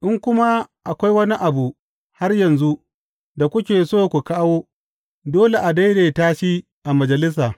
In kuma akwai wani abu har yanzu da kuke so ku kawo, dole a daidaita shi a majalisa.